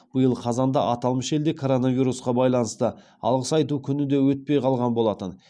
биыл қазанда аталмыш елде коронавирусқа байланысты алғыс айту күні де өтпей қалған болатын